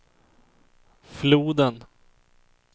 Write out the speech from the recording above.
floden